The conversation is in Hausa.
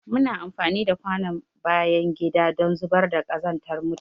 Muna amfani da kwanon bayan gida don zubar da kazantar mutane.